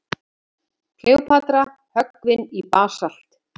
Kleópatra höggvin í basalt.